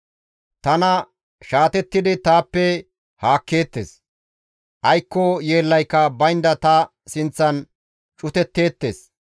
Tana shaatettidi taappe haakkeettes; aykko yeellayka baynda ta sinththan cutetteettes.